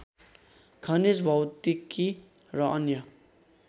खनिज भौतिकी र अन्य